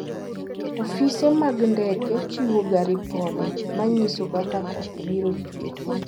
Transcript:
Ofise mag ndeke chiwoga ripode ma nyiso kaka koth biro chue.